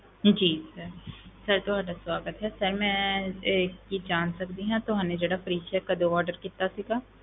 ਜੀ sir sir ਤੁਹਾਡਾ ਸਵਾਗਤ ਹੈ sir ਮੈਂ ਇਹ ਕੀ ਜਾਣ ਸਕਦੀ ਹਾਂ, ਤੁਹਾਨੇ ਜਿਹੜਾ fridge ਇਹ ਕਦੋਂ order ਕੀਤਾ ਸੀਗਾ?